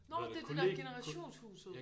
Nårh det er det der generationshuset